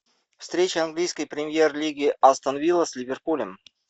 встреча английской премьер лиги астон вилла с ливерпулем